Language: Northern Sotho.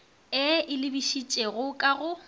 e e lebišitšego ka go